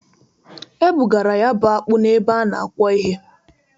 E bugara ya bụ akpụ na-ebe a na-akwọ ihe.